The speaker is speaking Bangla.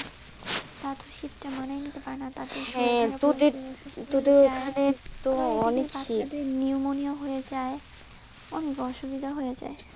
তারা তো শীত টা মানায় নিতে পারে না, দেড় নিমোনিয়া হয়ে যাই অনেক অসুবিধা হয়ে যাই.